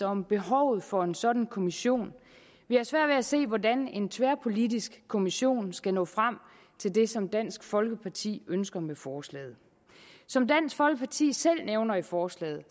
om behovet for en sådan kommission vi har svært ved at se hvordan en tværpolitisk kommission skal nå frem til det som dansk folkeparti ønsker med forslaget som dansk folkeparti selv nævner i forslaget